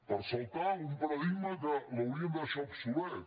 per saltar un paradigma que l’hauríem de deixar obsolet